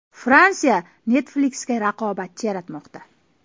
Fransiya Netflix’ga raqobatchi yaratmoqda.